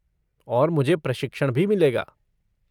और मुझे प्रशिक्षण भी मिलेगा।